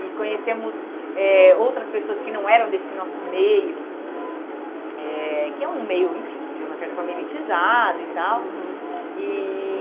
e conhecemos eh outras pessoas que não eram desse nosso meio, eh que é um meio, enfim, de uma certa forma elitizado e tal. Uhum. E